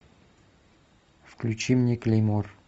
включи мне клеймор